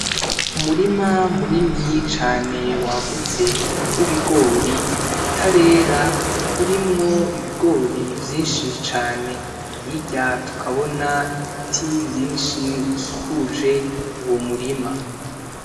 Umurima munini cane wagutse w'ibigori utarera urimwo ibigori vyishi cane hirya tukabona ibiti vyishi bikuje uwo murima .